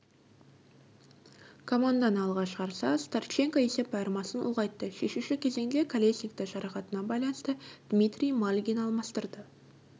команданы алға шығарса старченко есеп айырмасын ұлғайтты шешуші кезеңде колесникті жарақатына байланысты дмитрий мальгин алмастырды